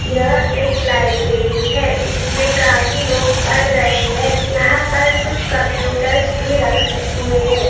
यह एक लाइब्रेरी है | जिसमे काफी लोग पढ़ रहें हैं। यहाँ पर कुछ कम्प्यूटर्स भी रखे हुए हैं।